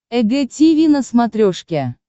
эг тиви на смотрешке